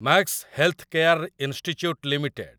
Max healthcare institute limited